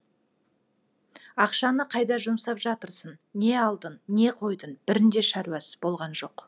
ақшаны қайда жұмсап жатырсың не алдың не қойдың бірінде шаруасы болған жоқ